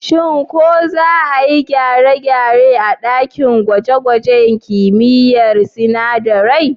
Shin ko za a yi gyare-gyare a ɗakin gwaje-gwajen kimiyyar sinadarai?